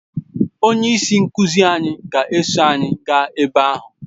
Onye isi nkuzi anyị ga-eso anyị gaa ebe ahụ